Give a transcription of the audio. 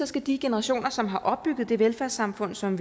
skal de generationer som har opbygget det velfærdssamfund som